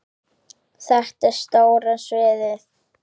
Þetta er stóra sviðið.